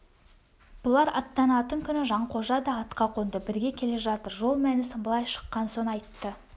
бұлар аттанатын күні жанқожа да атқа қонды бірге келе жатыр жол мәнісін былай шыққан соң айтты